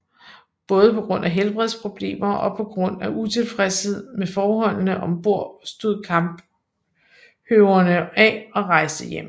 Både på grund af helbredsproblemer og på grund af utilfredshed med forholdene om bord stod Kamphøvener af og rejste hjemad